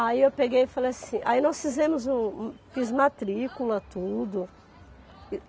Aí eu peguei e falei assim... Aí nós fizemos um, um... Fiz matrícula, tudo.